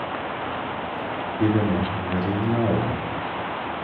Ibe ne garit non o